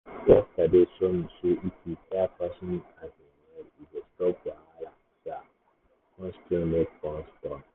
yesterday show me say if you hear person um well e go stop wahala um kon still make bond strong.